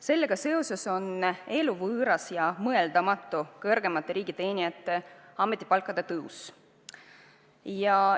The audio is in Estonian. Sellega seoses on kõrgemate riigiteenijate ametipalkade tõus eluvõõras ja mõeldamatu.